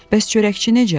Bəs çörəkçi necə?